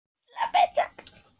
Ég hélt alltaf að Gylfi væri Bliki?